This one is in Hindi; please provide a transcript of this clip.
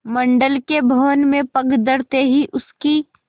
मंडल के भवन में पग धरते ही उसकी